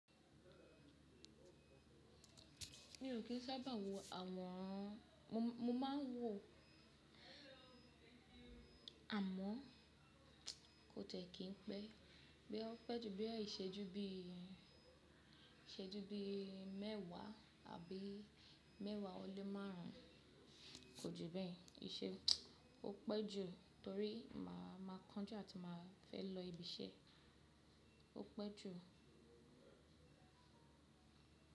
Mi ò kí ń sábà wo àwọn, mo máa ń wọ àmọ́ kó tẹ́ kí n pẹ́. Bóyá ó pẹ́ ju bóyá ìṣẹ́jú bí ìṣẹ́jú bí mẹ́wàá abí mẹ́wàá ọlẹ márùn ún, kò ju bẹ́ẹ̀. Í ṣe ó pẹ́ jù torí máa máa kánjú àti máa fẹ́ lọ ibi iṣẹ́. Ó pẹ́ jù.